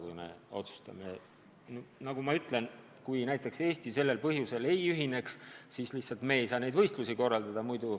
Kui me otsustame, et näiteks Eesti sellel põhjusel ei ühine, siis lihtsalt meie ei saa neid võistlusi korraldada.